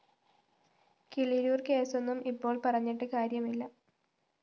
കിളിരൂര്‍ കേസ്സൊന്നും ഇപ്പോള്‍ പറഞ്ഞിട്ട് കാര്യമില്ല